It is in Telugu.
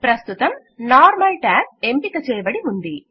ప్రస్తుతం నార్మల్ ట్యాబ్ ఎంపిక చేయబడి ఉంది